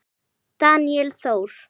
Daníel Þór.